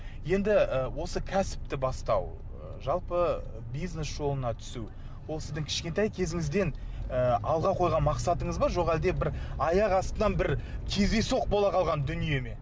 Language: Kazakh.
енді ы осы кәсіпті бастау ы жалпы бизнес жолына түсу ол сіздің кішкентай кезіңізден ы алға қойған мақсатыңыз ба жоқ әлде бір аяқ астынан бір кездейсоқ бола қалған дүние ме